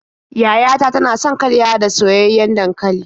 Yaya ta tana son karyawa da soyayyen dankali.